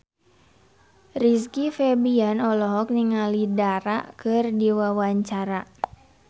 Rizky Febian olohok ningali Dara keur diwawancara